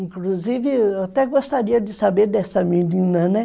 Inclusive, eu até gostaria de saber dessa menina, né?